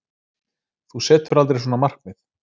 Þú setur aldrei svona markmið.